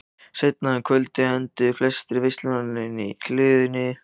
Seinna um kvöldið enduðu flestir veislugestanna inni í hlöðunni.